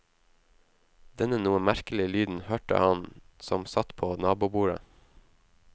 Denne noe merkelig lyden hørte han som satt på nabobordet.